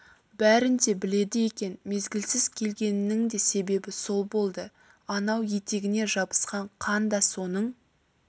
бәрін де біледі екен мезгілсіз келгенінің де себебі сол болды анау етегіне жабысқан қан да соның